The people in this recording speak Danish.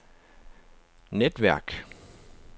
netværk